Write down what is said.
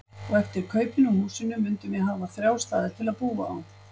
Og eftir kaupin á húsinu mundum við hafa þrjá staði til að búa á.